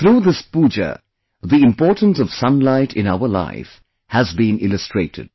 Through this puja the importance of sunlight in our life has been illustrated